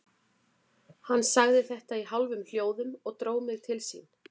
Hann sagði þetta í hálfum hljóðum og dró mig til sín.